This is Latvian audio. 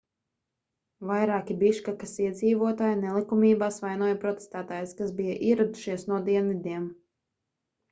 vairāki biškekas iedzīvotāji nelikumībās vainoja protestētājus kas bija ieradušies no dienvidiem